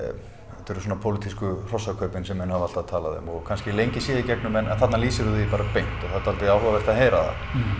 þetta eru svona pólitísku hrossakaupin sem menn hafa alltaf talað um og kannski lengi séð í gegnum en þarna lýsirðu því bara beint og það er dálítið áhugavert að heyra